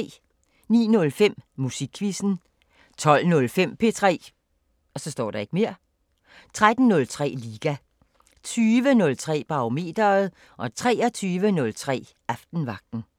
09:05: Musikquizzen 12:05: P3 13:03: Liga 20:03: Barometeret 23:03: Aftenvagten